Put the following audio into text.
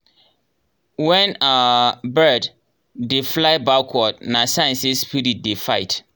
when um bird dey fly backward na sign say spirit dey fight.